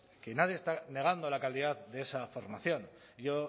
que nadie está negando la calidad de esa formación yo